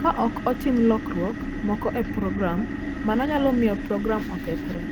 Ka ok otim lokruok moko e program, mano nyalo miyo program okethre.